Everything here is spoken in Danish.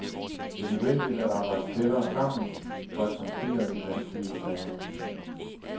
Det er nødvendigt at arbejde tættere sammen for at håndtere de vanskelige sager.